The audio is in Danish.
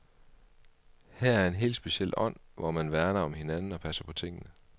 Her er en helt speciel ånd, hvor man værner om hinanden og passer på tingene.